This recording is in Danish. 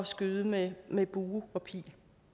skyde med med bue og pil